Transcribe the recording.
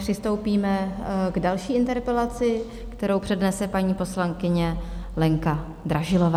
Přistoupíme k další interpelaci, kterou přednese paní poslankyně Lenka Dražilová.